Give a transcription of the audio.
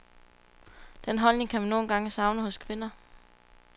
Den holdning kan man nogle gange savne hos kvinder.